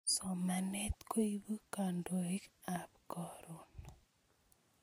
Somanet koipu kandoik ab Karon